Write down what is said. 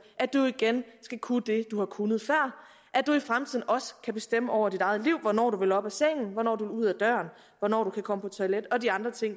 at du igen skal kunne det du har kunnet før at du i fremtiden også kan bestemme over dit eget liv hvornår du vil op af sengen hvornår du vil ud af døren hvornår du kan komme på toilet og de andre ting